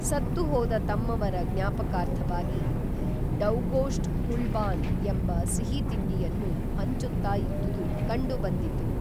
ಸತ್ತು ಹೋದ ತಮ್ಮವರ ಜ್ಞಾಪಕಾರ್ಥವಾಗಿ ಡವ್ಗೋಷ್ಟ್ ಕುಲ್ಬಾನ್ ಎಂಬ ಸಿಹಿ ತಿಂಡಿಯನ್ನು ಹಂಚುತ್ತಾ ಇದ್ದುದು ಕಂಡುಬಂದಿತು